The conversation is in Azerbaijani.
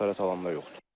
Xəsarət alan da yoxdur.